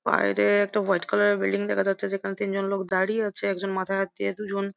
বাইরে একটা হোয়াইট কালারের বিল্ডিং দেখা যাচ্ছে যেখানে তিনজন লোক দাঁড়িয়ে আছে একজন মাথায় হাত দিয়ে দুজন--